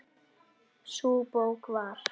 Sú bók var